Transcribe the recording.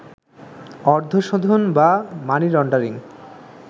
অর্থশোধন বা money laundering